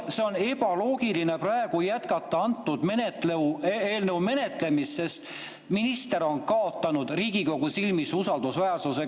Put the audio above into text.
On ebaloogiline praegu jätkata antud eelnõu menetlemist, sest minister on kaotanud Riigikogu silmis usaldusväärsuse.